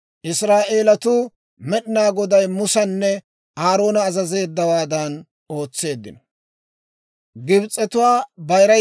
Israa'eelatuu Med'inaa Goday Musanne Aaroona azazeeddawaadan ootseeddino.